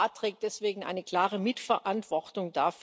Der Rat trägt deswegen eine klare Mitverantwortung.